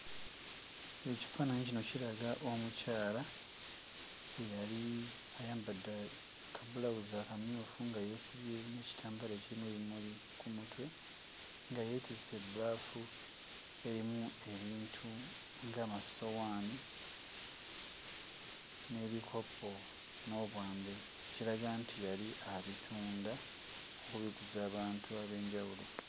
Ekifaananyi kino kiraga omukyala eyali ayambadde kabbulawuzi akamyufu nga yeesibye n'ekitambaala ekirimu ebimuli ku mutwe. Nga yeetisse ebbaafu erimu ebintu nga amasowaani, n'ebikopo n'obwambe ekiraga nti yali abitunda kubiguza abantu ab'enjawulo.